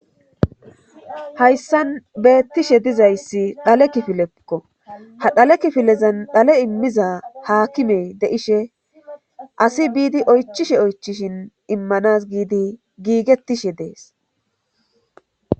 Hayssan beettishe dizayssi dhale kifilekko ha dhale kifilezan dhale immiza haakimey de7ishe asi biidi oychishe oychishin immanas giidi giigettishe dees